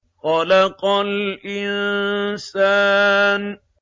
خَلَقَ الْإِنسَانَ